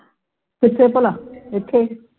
ਕਿੱਥੇ ਭਲਾ ਏਥੇ ਹੀ